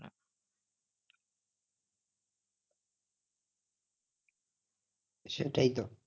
সেটাই তো?